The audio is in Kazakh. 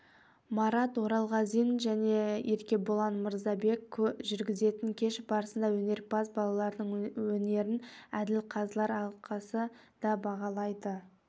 марат оралғазин және еркебұлан мырзабек жүргізетін кеш барысында өнерпаз балалардың өнерін әділқазылар алқасы да бағалайды